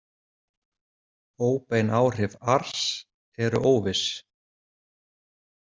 Óbein áhrif ars eru óviss.